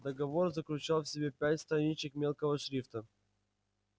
договор заключал в себе пять страничек мелкого шрифта